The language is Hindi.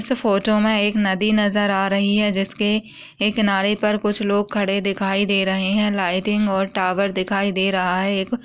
इस फोटो में एक नदी नजर आ रही है जिसके एक किनारे पर कुछ लोग खड़े दिखाई दे रहे हैं। लाइटिंग और टावर दिखाई दे रहा है। एक --